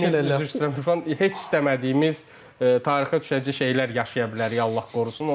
İsdəmədiyimiz şey, üzr istəyirəm, Üfran, heç istəmədiyimiz tarixə düşəcək şeylər yaşaya bilərik, Allah qorusun.